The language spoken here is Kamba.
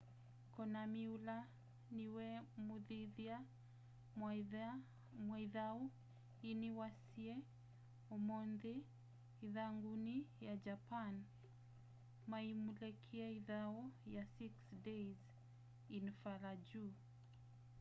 konami ula niwe mumithya wa ithau yii ni waisye umunthi ithanguni ya japan maiulekya ithau ya six days in fallujah